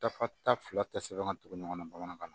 Dafa ta fila tɛ sɛbɛn ka tugu ɲɔgɔn na bamanankan na